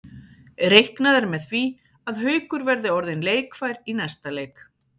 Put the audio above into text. Reiknað er með því að Haukur verði orðinn leikfær í næsta leik.